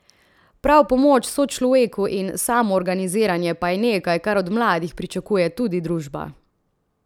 Prav pomoč sočloveku in samoorganiziranje pa je nekaj, kar od mladih pričakuje tudi družba.